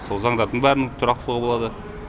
сол заңдардың бәрінің тұрақтылығы болады